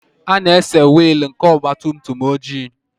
A na-ese wiil nke ọgabtumtum oji.